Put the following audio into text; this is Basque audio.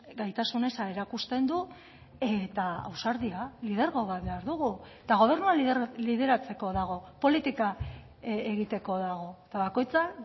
gaitasun eza erakusten du eta ausardia lidergo bat behar dugu eta gobernua lideratzeko dago politika egiteko dago eta bakoitza